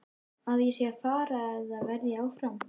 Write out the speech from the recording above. Að ég sé að fara eða að ég verði áfram?